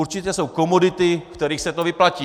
Určitě jsou komodity, u kterých se to vyplatí.